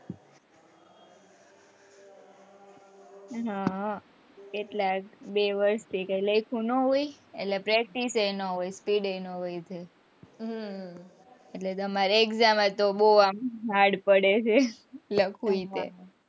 હા એટલા બે વરસ ભેગી થઈને ન હોય એટલે practice એ ના હોય speed એ ના હોય એટલે તમારે exam માં તો બૌ hard પડે છે લખવું એટલે,